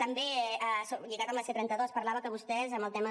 també lligat amb la c trenta dos parlava que vostès en el tema